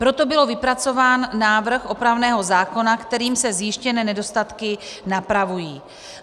Proto byl vypracován návrh opravného zákona, kterým se zjištěné nedostatky napravují.